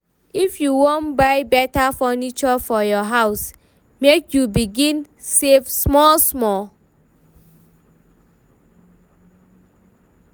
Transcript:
If you wan buy beta furniture for your house, make you begin save small-small.